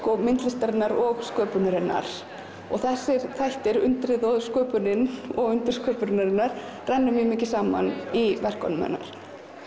myndlistarinnar og sköpunarinnar og þessir þættir undrið og sköpunin og undur sköpunarinnar renna mjög mikið saman í verkum hennar